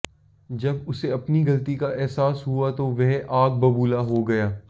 जब उसे अपनी गलती का एहसास हुआ तो वह आग बबूला हो गया